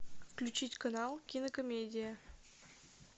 включить канал кинокомедия